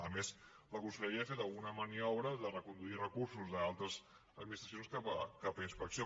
a més la conselleria ha fet alguna maniobra de reconduir recursos d’altres administracions cap a inspecció